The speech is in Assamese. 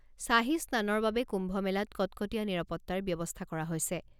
শ্বাহী স্নানৰ বাবে কুম্ভ মেলাত কটকটীয়া নিৰাপত্তাৰ ব্যৱস্থা কৰা হৈছে।